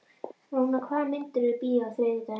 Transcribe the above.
Rúnar, hvaða myndir eru í bíó á þriðjudaginn?